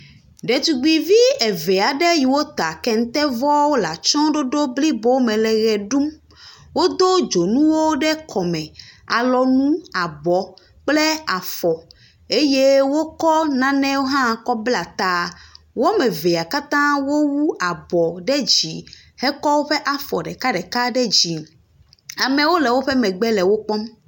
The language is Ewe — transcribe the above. Ɖetugbivi eve aɖe yiwo ta kenteɔwo le atsyɔ̃ɖoɖo blibo me le ʋe ɖum. Wodo dzonuwo ɖe kɔme, alɔnu, abɔ kple afɔ. Eye wokɔ nanewo hã kɔbla ta. Wo ame evea katã wu abɔ ɖe dzi hekɔ woƒe afɔ ɖekaɖeka ɖe dzi. Amewo le woƒe megbe le wokpɔm.